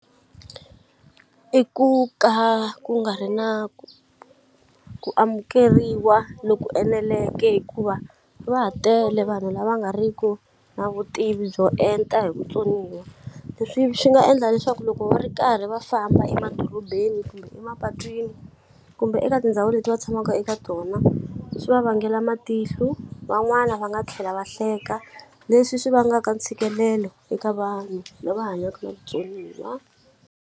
I ku ka ku nga ri na ku ku amukeriwa loku eneleke hikuva va ha tele vanhu lava nga ri ku na vutivi byo enta hi vutsoniwa leswi swi nga endla leswaku loko va ri karhi va famba emadorobeni kumbe emapatwini kumbe eka tindhawu leti va tshamaka eka tona swi va vangela matihlu van'wana va nga tlhela va hleka leswi swi vangaka ntshikelelo eka vanhu lava hanyaka na vutsoniwa.